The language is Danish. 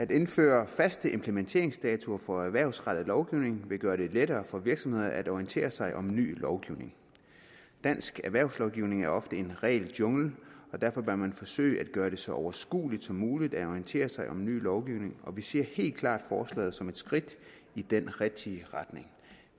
at indføre faste implementeringsdatoer for erhvervsrettet lovgivning vil gøre det lettere for virksomhederne at orientere sig om ny lovgivning dansk erhvervslovgivning er ofte en regeljungle og derfor bør man forsøge at gøre det så overskueligt som muligt at orientere sig om ny lovgivning og vi ser helt klart forslaget som et skridt i den rigtige retning